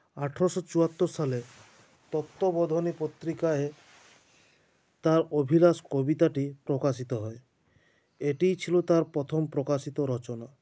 আঠারশো চুয়াত্তর সালে তত্ববোধনী পত্রিকায় তাঁর অভিলাষ কবিতাটি প্রকাশিত হয় এটিই ছিল তাঁর প্রথম প্রকাশিত রচনা